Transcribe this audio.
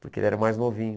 Porque ele era mais novinho.